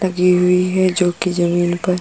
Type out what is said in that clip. लगी हुई है जो कि ज़मीन पर--